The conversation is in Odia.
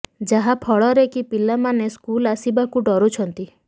ଯାହା ଫଳରେ କି ପିଲା ମାନେ ସ୍କୁଲ ଆସିବାକୁ ଡରୁଛନ୍ତି